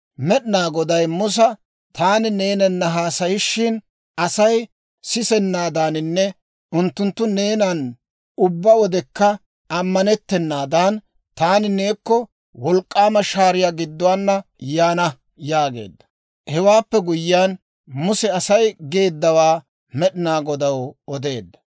Med'inaa Goday Musa, «Taani neenana haasayishin Asay sisanaadaaninne unttunttu neenan ubbaa wodekka ammanettanaadan, taani neekko wolk'k'aama shaariyaa gidduwaana yaana» yaageedda. Hewaappe guyyiyaan Muse Asay geeddawaa Med'inaa Godaw odeedda.